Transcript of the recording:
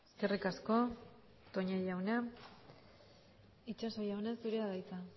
eskerrik asko toña jauna itxaso jauna zurea da hitza